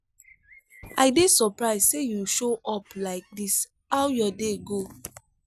i dey surprised say you show up like this how your day go?